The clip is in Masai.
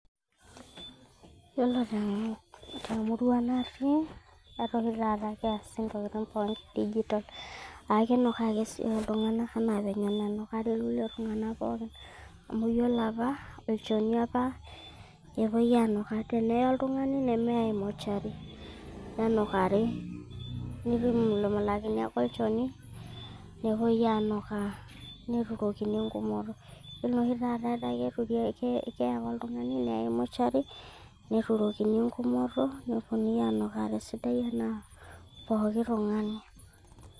Yiolo temurua natii, etaa oshi keasi intokiti pooki digital. Aa kinukaa si iyiok iltung'anak anaa ene nukaa iltun'ganak pooki. Amu iyiolo apa, olchoni apa epuoi aanukaa tenee oltung'ani neme ai motuary tene nukari. Neimulumulakini ake olchoni nepuoi aa nukaa neturokini engumoto. ore oshi taata kee ake oltung'ani neyae motuary neturokini eng'umoto nepuonu aa nukaa tesidai anaa pooki tung'ani.